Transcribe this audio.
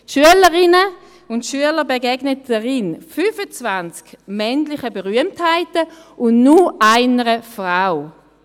Schülerinnen und Schüler begegnen darin 25 männlichen Berühmtheiten und nur einer Frau.